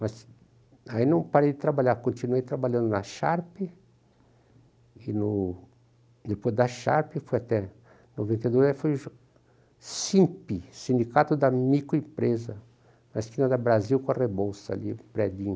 Mas aí não parei de trabalhar, continuei trabalhando na Sharp, e no depois da Sharp foi até noventa e dois, aí foi o Simp, Sindicato da Microempresa, na esquina da Brasil, com a Rebouça ali, o prédinho.